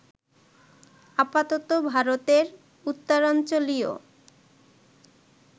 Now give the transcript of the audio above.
আপাতত ভারতের উত্তরাঞ্চলীয়